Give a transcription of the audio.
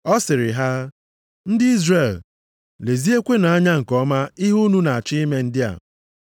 Ọ sịrị ha, “Ndị Izrel, leziekwanụ anya nke ọma ihe unu na-achọ ime ndị a.